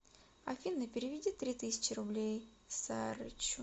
афина переведи три тысячи рублей сарычу